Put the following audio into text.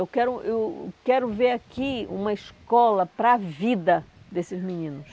Eu quero eu quero ver aqui uma escola para a vida desses meninos.